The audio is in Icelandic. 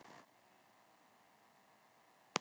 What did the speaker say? Er Dagný Brynjarsdóttir til í að byrja leikinn á þriðjudag?